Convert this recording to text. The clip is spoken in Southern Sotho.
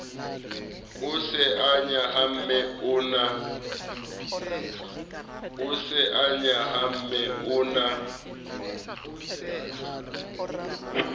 o se nyahame o na